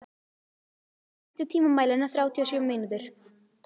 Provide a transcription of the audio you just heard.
Matti, stilltu tímamælinn á þrjátíu og sjö mínútur.